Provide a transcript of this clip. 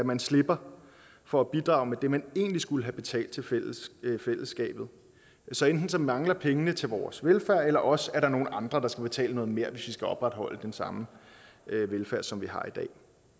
man slipper for at bidrage med det man egentlig skulle have betalt til fællesskabet så enten mangler pengene til vores velfærd eller også er der nogle andre der skal betale noget mere hvis vi skal opretholde den samme velfærd som vi har i dag